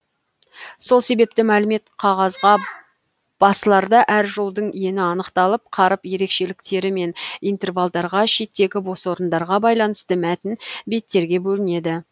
сол себепті мәлімет қағазға басыларда әр жолдың ені анықталып қаріп ерекшеліктері мен интервалдарға шеттегі бос орындарға байланысты мәтін беттерге бөлінеді